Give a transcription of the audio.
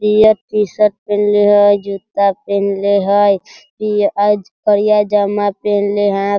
Peer T-shirt पहनले हई जुत्ता पेहनले हई इ आज करिया पजामा पहनले हई।